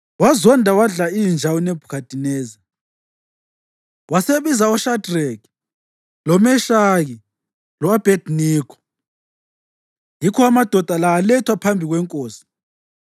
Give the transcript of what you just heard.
Wazonda wadla inja uNebhukhadineza, wasebiza oShadreki, loMeshaki lo-Abhediniko. Yikho amadoda la alethwa phambi kwenkosi,